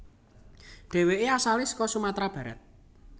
Deweke asale saka Sumatra Barat